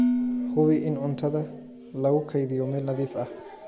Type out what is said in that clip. Hubi in cuntada lagu kaydiyo meel nadiif ah.